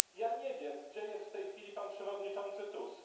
Nie wiem, gdzie jest w tej chwili pan przewodniczący Tusk.